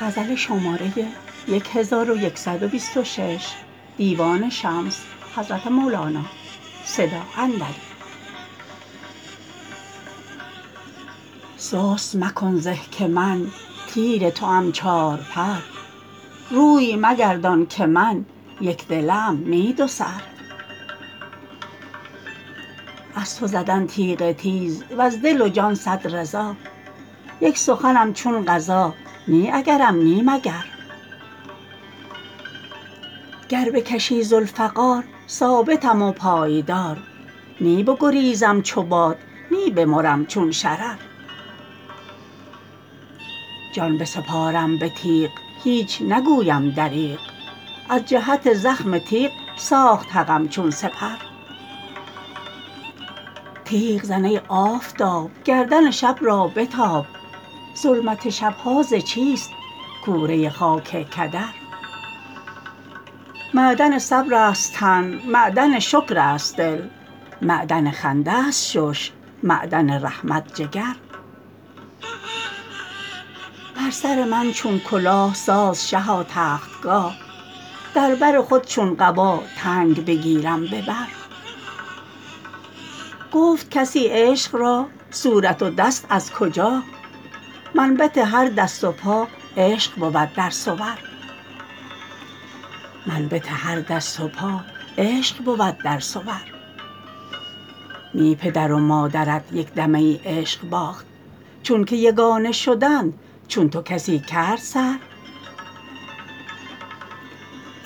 سست مکن زه که من تیر توام چارپر روی مگردان که من یک دله ام نی دوسر از تو زدن تیغ تیز وز دل و جان صد رضا یک سخنم چون قضا نی اگرم نی مگر گر بکشی ذوالفقار ثابتم و پایدار نی بگریزم چو باد نی بمرم چون شرر جان بسپارم به تیغ هیچ نگویم دریغ از جهت زخم تیغ ساخت حقم چون سپر تیغ زن ای آفتاب گردن شب را به تاب ظلمت شب ها ز چیست کوره خاک کدر معدن صبرست تن معدن شکر است دل معدن خنده ست شش معدن رحمت جگر بر سر من چون کلاه ساز شها تختگاه در بر خود چون قبا تنگ بگیرم به بر گفت کسی عشق را صورت و دست از کجا منبت هر دست و پا عشق بود در صور نی پدر و مادرت یک دمه ای عشق باخت چونک یگانه شدند چون تو کسی کرد سر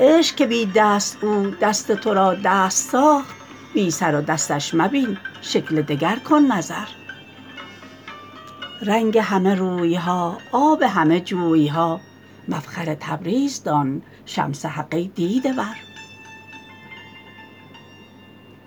عشق که بی دست او دست تو را دست ساخت بی سر و دستش مبین شکل دگر کن نظر رنگ همه روی ها آب همه جوی ها مفخر تبریز دان شمس حق ای دیده ور